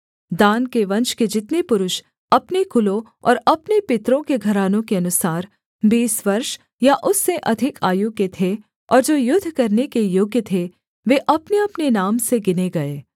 दान के वंश के जितने पुरुष अपने कुलों और अपने पितरों के घरानों के अनुसार बीस वर्ष या उससे अधिक आयु के थे और जो युद्ध करने के योग्य थे वे अपनेअपने नाम से गिने गए